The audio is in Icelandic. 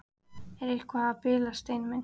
Ertu eitthvað að bilast, Steini minn?